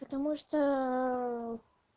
потому что